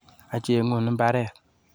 Acheng'un mbaret